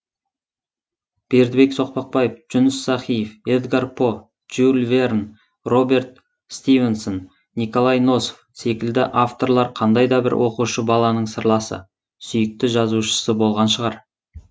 бердібек соқпақбаев жүніс сахиев эдгар по жюль верн роберет стивенсон николай носов секілді авторлар қандай да бір оқушы баланың сырласы сүйікті жазушысы болған шығар